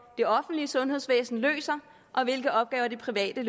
det offentlige sundhedsvæsen løser og hvilke opgaver det private